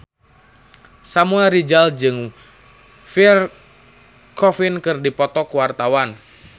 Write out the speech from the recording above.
Samuel Rizal jeung Pierre Coffin keur dipoto ku wartawan